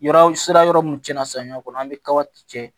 Yɔrɔ sira yɔrɔ mun tiɲɛna samiya kɔnɔ an be kaba cɛ